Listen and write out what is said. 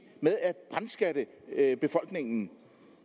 med at brandskatte befolkningen